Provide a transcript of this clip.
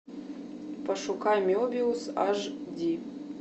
пошукай мебиус аш ди